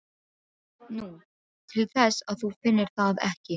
Nú, til þess að þú finnir það ekki.